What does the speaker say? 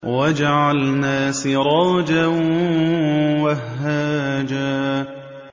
وَجَعَلْنَا سِرَاجًا وَهَّاجًا